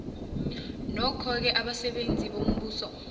nokhoke abasebenzi bombuso